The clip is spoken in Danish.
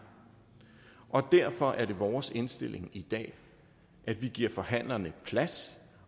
derfor er det vores indstilling i dag at vi giver forhandlerne plads